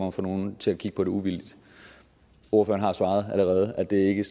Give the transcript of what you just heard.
at få nogen til at kigge på det uvildigt ordføreren har allerede svaret at det ikke